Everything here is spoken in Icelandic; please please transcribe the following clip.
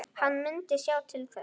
Hann myndi sjá til þess.